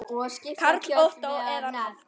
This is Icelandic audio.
Karl Ottó að nafni.